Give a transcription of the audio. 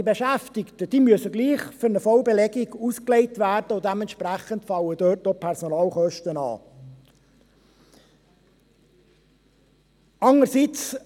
Die Beschäftigten müssen gleichwohl für eine Vollbelegung ausgelegt werden, und dementsprechend fallen dort auch Personalkosten an.